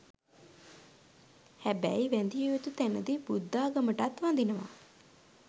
හැබැයි වැදිය යුතු තැනදි බුද්ධාගමටත් වදිනවා.